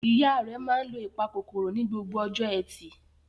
Ìyá rẹ̀ máa ń lo ìpakòkòrò ní gbogbo ọjọ́ ẹtì.